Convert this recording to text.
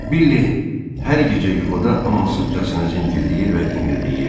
Billie hər gecə yuxuda amansızcasına zingildiyir və inildiyirdi.